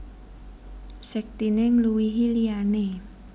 Sektiné ngluwihi liyané